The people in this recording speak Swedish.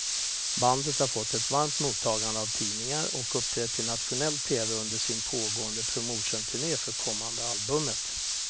Bandet har fått ett varmt mottagande av tidningar och uppträtt i nationell tv under sin pågående promotionturné för kommande albumet.